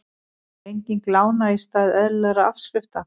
Lenging lána í stað eðlilegra afskrifta